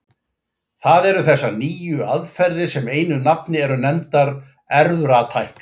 Það eru þessar nýju aðferðir sem einu nafni eru nefndar erfðatækni.